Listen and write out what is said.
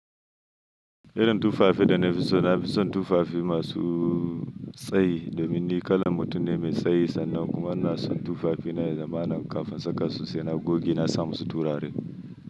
Irin tufafi da na fi so, na fi son tufafi masu tsayi domin ni kalan mutum ne mai tsayi sannan kuma na son tufafi na zamanin kafin saka su sai na goge na sa musu turare.